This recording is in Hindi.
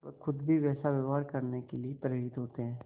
वह खुद भी वैसा व्यवहार करने के लिए प्रेरित होते हैं